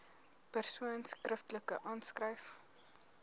persoon skriftelik aanskryf